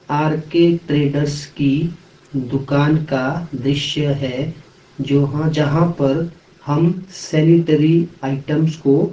R K traders की दुकान का दृश्य है जो जहाँ पर हम सैनिटरी आइटम्स को--